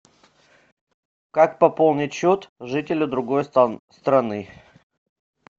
как пополнить счет жителя другой страны